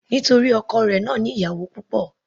Nítorí ọkọ rẹ̀ náà ní ìyàwó púpọ̀.